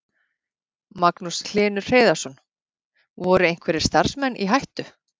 Magnús Hlynur Hreiðarsson: Voru einhverjir starfsmenn í hættu?